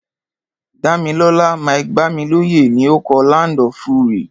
Dámilọ́lá Mike-Bámilóyè ni o kọ "Land of Fury".